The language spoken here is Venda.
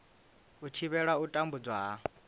u thivhela u tambudzwa ha